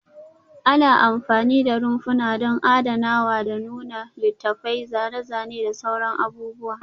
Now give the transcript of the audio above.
Ana amfani da rumfuna don adanawa da nuna littattafai, zane-zane da sauran abubuwa